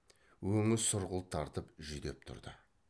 өңі сұрғылт тартып жүдеп тұрды